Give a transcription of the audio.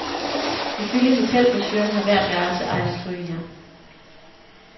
Ifølge hotelbrochuren har hvert værelse eget strygejern.